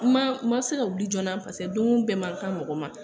An ma ma se ka wuli joona pase doon bɛɛ man kan mɔgɔ ma.